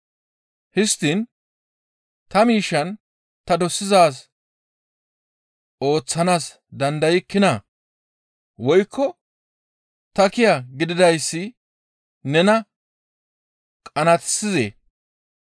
Histtiin ta miishshaan ta dosidaaz ooththanaas dandaykkinaa? Woykko ta kiya gididayssi nena qanaatissizee?›